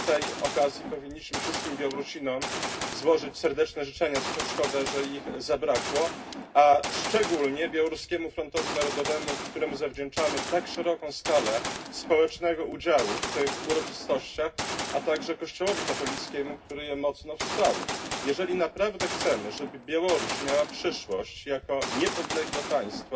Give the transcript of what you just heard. Chyba z tej okazji powinniśmy wszystkim Białorusinom złożyć serdeczne życzenia, szkoda, że ich zabrakło, a szczególnie Białoruskiemu Frontowi Narodowemu, któremu zawdzięczamy tak szeroką skalę społecznego udziału w tych uroczystościach, a także Kościołowi katolickiemu, który je mocno wsparł. Jeżeli naprawdę chcemy, żeby Białoruś miała przyszłość jako niepodległe państwo,